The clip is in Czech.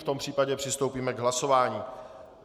V tom případě přistoupíme k hlasování.